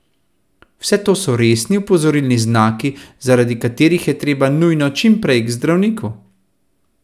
Vse to so resni opozorilni znaki, zaradi katerih je treba nujno čim prej k zdravniku!